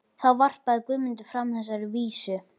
Þá varpaði Guðmundur fram þessari vísu: